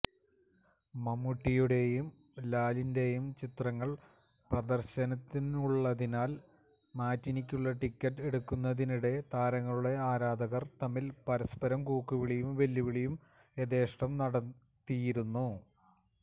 മമ്മൂട്ടിയുടെയും ലാലിന്റെയും ചിത്രങ്ങള് പ്രദര്ശനത്തിനുള്ളതിനാല് മാറ്റിനിയ്ക്കുള്ള ടിക്കറ്റ് എടുക്കുന്നതിനിടെ താരങ്ങളുടെ ആരാധകര് തമ്മില് പരസ്പരം കൂക്കുവിളിയും വെല്ലുവിളിയും യഥേഷ്ടം നടത്തിയിരുന്നു